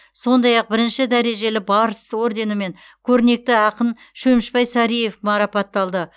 сондай ақ бірінші дәрежелі барыс орденімен көрнекті ақын шөмішбай сариев марапатталды